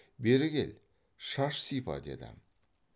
бері кел шаш сипа деді